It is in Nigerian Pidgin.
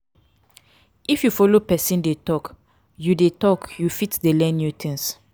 if you de follow persin de talk you de talk you fit de learn new things